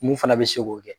Mun fana bɛ se k'o kɛ